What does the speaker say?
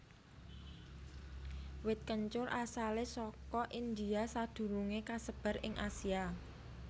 Wit kencur asalé saka India sadurungé kasebar ing Asia